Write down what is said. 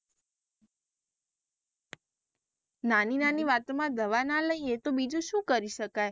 નાની નાની વાતો માં દવા ના લઈએ તો બીજું શુ કરી શકાય?